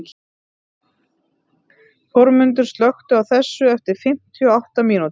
Þórmundur, slökktu á þessu eftir fimmtíu og átta mínútur.